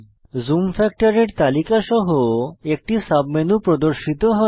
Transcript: zoom ফ্যাক্টরের তালিকা সহ একটি সাবমেনু প্রর্দশিত হয়